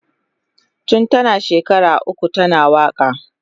Tun tana shekara uku tana waka.